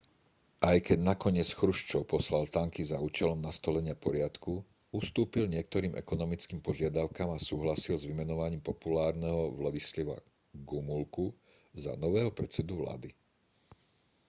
aj keď nakoniec chruščov poslal tanky za účelom nastolenia poriadku ustúpil niektorým ekonomickým požiadavkám a súhlasil s vymenovaním populárneho wladyslawa gomulku za nového predsedu vlády